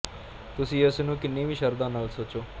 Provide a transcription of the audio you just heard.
ਤੁਸੀਂ ਇਸ ਨੂੰ ਕਿੰਨੀ ਵੀ ਸ਼ਰਧਾ ਨਾਲ ਸੋਚੋ